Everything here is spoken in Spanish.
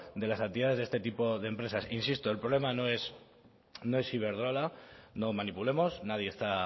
de las actividades de este tipo de empresas insisto el problema no es iberdrola no manipulemos nadie está